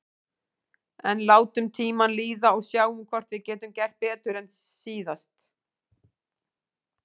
En látum tímann líða og sjáum hvort við getum gert betur en síðast.